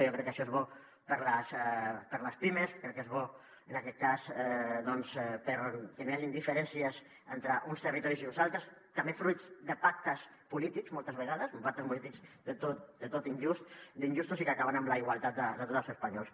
jo crec que això és bo per a les pimes crec que és bo en aquest cas doncs perquè no hi hagin diferències entre uns territoris i uns altres també fruit de pactes polítics moltes vegades uns pactes polítics del tot injustos i que acaben amb la igualtat de tots els espanyols